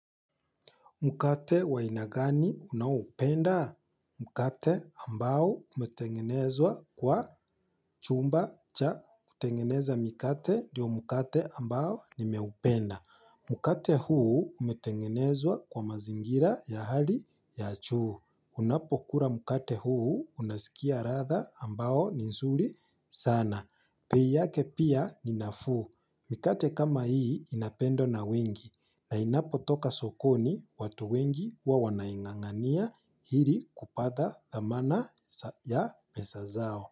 Mkate wa aina gani unaoupenda? Mkate ambao umetengenezwa kwa chumba cha kutengeneza mikate ndiyo mkate ambao nimeupenda. Mkate huu umetengenezwa kwa mazingira ya hali ya juu. Unapo kula mkate huu unasikia latha ambao ni nzuri sana. Bei yake pia ni nafuu. Mikate kama hii inapendwa na wengi. Na inapotoka sokoni watu wengi huwa wanaingangania ili kupata thamana ya pesa zao.